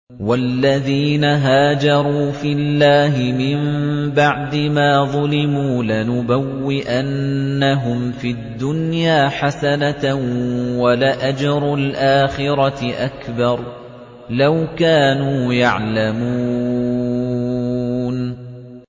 وَالَّذِينَ هَاجَرُوا فِي اللَّهِ مِن بَعْدِ مَا ظُلِمُوا لَنُبَوِّئَنَّهُمْ فِي الدُّنْيَا حَسَنَةً ۖ وَلَأَجْرُ الْآخِرَةِ أَكْبَرُ ۚ لَوْ كَانُوا يَعْلَمُونَ